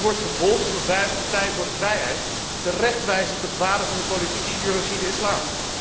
Die wordt vervolgd omdat wij als Partij voor de Vrijheid terecht wijzen op de gevaren van de politieke ideologie, de islam.